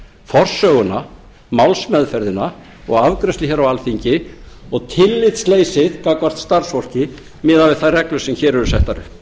forsöguna málsmeðferðina og afgreiðslu hér á alþingi og tillitsleysi gagnvart starfsfólki miðað við þær reglur sem hér eru settar upp þar segir meðal annars